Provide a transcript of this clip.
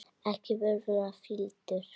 Ekki vera svona fýldur.